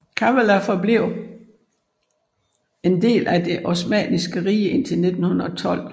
Kavala forblev en del af det osmanniske rige indtil 1912